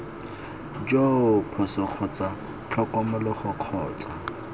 joo phoso kgotsa tlhokomologo kgotsa